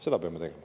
Seda peame tegema.